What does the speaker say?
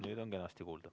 Nüüd on kenasti kuulda.